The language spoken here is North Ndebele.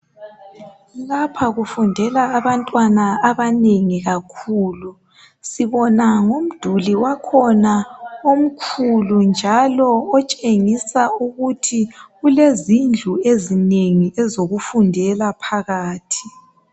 Lapha kufundela abantwana abanengi kakhulu sibona ngomduli wakhona omkhulu njalo otshengisa ukuthi kulezindlu ezinengi ezokufundela phakathi.